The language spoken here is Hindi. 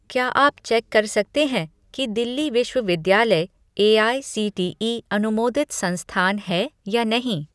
क्या आप चेक कर सकते हैं कि दिल्ली विश्वविद्यालय एआईसीटीई अनुमोदित संस्थान है या नहीं?